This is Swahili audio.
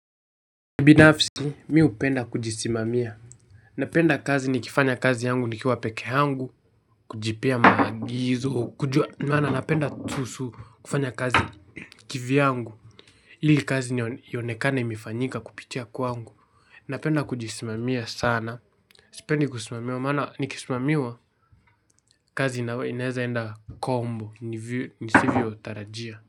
Ubinafisi, mi hupenda kujisimamia. Napenda kazi nikifanya kazi yangu nikiwa pekee yangu, kujipea maagizo, kujua maana napenda kuhusu kufanya kazi kivyangu. Ili kazi ionekane imefanyika kupitia kwangu. Napenda kujisimamia sana. Sipendi kusimamiwa maana nikisimamiwa kazi inaeza kwenda kombo nisivyotarajia.